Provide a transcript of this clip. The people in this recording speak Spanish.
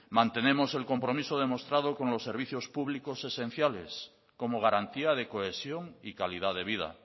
mantenemos el compromiso demostrado con los servicios públicos esenciales como garantía de cohesión y calidad de vida